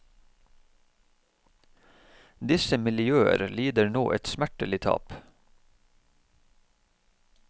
Disse miljøer lider nå et smertelig tap.